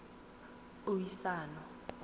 puiso